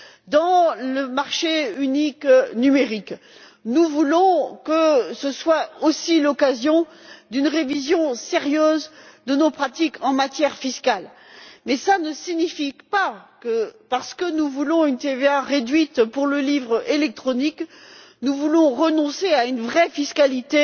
Dans le marché unique numérique, nous voulons que ce soit aussi l'occasion d'une révision sérieuse de nos pratiques fiscales. Mais ce n'est pas parce que nous voulons une TVA réduite pour le livre électronique que nous voulons renoncer à une vraie fiscalité